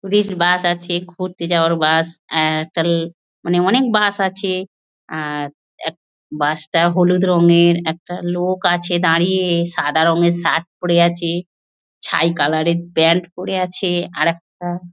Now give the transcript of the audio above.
Tourist bus আছে। ঘুরতে যাওয়ার বাস অ্যাঁহ একটা মানে অনেক বাস আছে। আর র এক বাস টা হলুদ রংয়ের আর একটা লোক আছে দাঁড়িয়ে। সাদা রঙের শার্ট পরে আছে ছাই কালার এর প্যান্ট পরে আছে। আরেকটা--